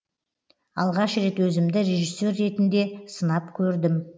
алғаш рет өзімді режиссер ретінде сынап көрдім